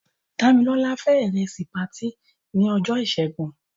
Dámilọ́lá fé ìrẹsì patí ní ọjọ́ ìṣẹ́gun.